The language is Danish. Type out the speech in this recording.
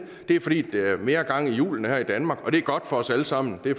det er fordi der er mere gang i hjulene her i danmark og det er godt for os alle sammen det